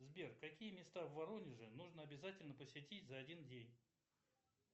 сбер какие места в воронеже нужно обязательно посетить за один день